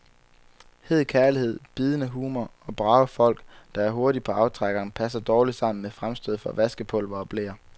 Hed kærlighed, bidende humor og brave folk, der er hurtige på aftrækkeren, passer dårligt sammen med fremstød for vaskepulver og bleer.